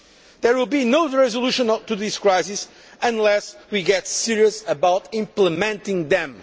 There will be no resolution to this crisis unless we get serious about implementing them.